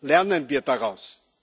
Lernen wir daraus!